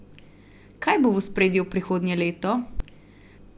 Kaj bo v ospredju prihodnje leto?